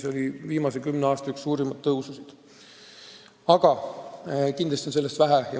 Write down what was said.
See oli üks viimase kümne aasta suurimaid tõususid, aga kindlasti on sellest vähe.